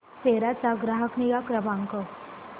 सेरा चा ग्राहक निगा क्रमांक